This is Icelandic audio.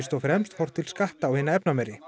og fremst horft til skatta á hina efnameiri